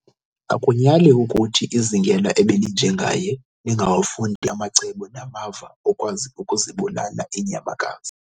Akunyali ukuthi izingela ebelinje ngaye lingawafundi amacebo namava okwazi ukuzibulala iinyamakazi.